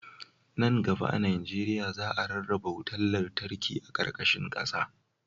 Nan gaba a najeriya, za a rarraba wutar lantarki a ƙarƙashin ƙasa..